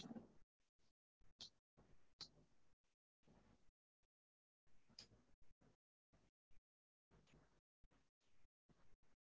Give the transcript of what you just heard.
okay நா அது evening க்குள்ள அத சொல்லிடறேன் ஏன்னா correct ஆ அது சொல்லமுடியாது thirty thirty அப்படி சொல்லமுடியாது thirty-five ல இருந்து forty குள்ள ஒரு number தா